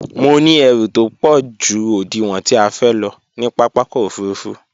Mo ní ẹrù tópọ̀ ju òdiwọ̀n tí a fẹ́ lọ ní pápákọ̀ òfurufú